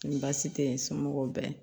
Ni baasi tɛ n somɔgɔw bɛɛ ye